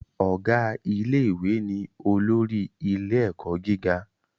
Ọ̀gá ilé ìwé ni olórí ilé ẹ̀kọ́ gíga